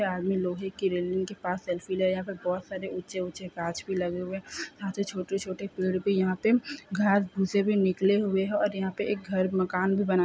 यह आदमी लोहे की रेलिंग के पास सेल्फी ले रहा है यहाँ पर बहुत सारे ऊंचे-ऊंचे गाछ भी लगे हुए हैं यहाँ से छोटे-छोटे पेड़ भी यहाँ पर घास फूसे भी निकले हुए हैं और यहाँ पर एक घर मकान भी बना है।